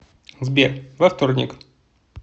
сбер во вторник